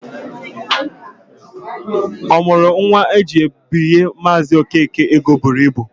Ọ mụrụ nwa ha jiri binye Maazị Okeke ego buru ibu.